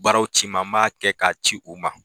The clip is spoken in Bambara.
Baaraw ci n ma n b'a kɛ k'a ci u ma